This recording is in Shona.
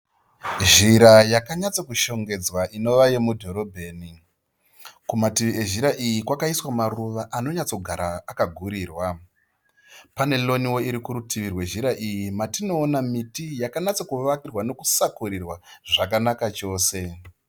Zhira yakanyatsokushongedzwa inova yenudhorobheni. Kumativi ezhira iyi kwakaiswa maruva anonyatsogara akagurirwa. Paneroni irikumativi kwezhira iyi matinoona miti yakanyatsokusakurirwa zvakanaka chose.